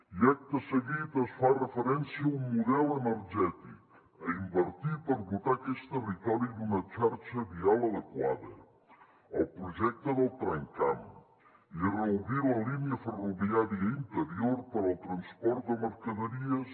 i acte seguit es fa referència a un model energètic a invertir per dotar aquest territori d’una xarxa vial adequada al projecte del tramcamp i a reobrir la línia ferroviària interior per al transport de mercaderies